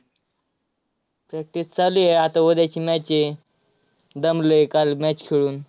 Practice चालू आहे. आता उद्याची match आहे. दमलोय काल match खेळून.